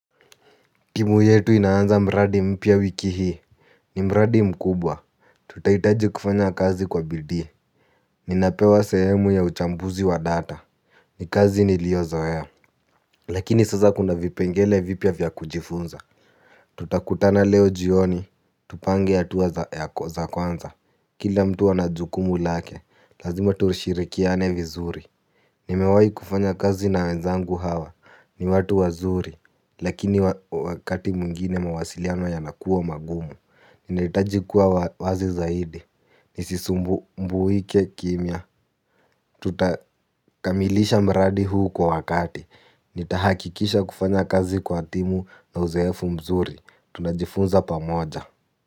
Timu yetu inaanza mradi mpya wiki hii. Ni mradi mkubwa. Tutaitaji kufanya kazi kwa bidii. Ninapewa sehemu ya uchambuzi wa data. Nikazi niliyo zoea. Lakini sasa kuna vipengele vipya vya kujifunza. Tutakutana leo jioni tupange hatua za kwanza. Kila mtu ana jukumu lake. Lazima tushirikiane vizuri. Nimewayi kufanya kazi na wenzangu hawa. Ni watu wazuri. Lakini wakati mwingine mawasiliano yanakua magumu. Ninahitaji kuwa wazi zaidi. Nisisumbuke kimia. Tutakamilisha mradi huu kwa wakati. Nitahakikisha kufanya kazi kwa timu na uzoefu mzuri. Tunajifunza pamoja.